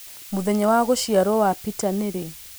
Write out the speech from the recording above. Mũthenya wa gũciarwo wa Peter nĩ rĩ?